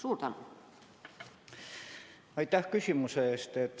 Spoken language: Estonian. Aitäh küsimuse eest!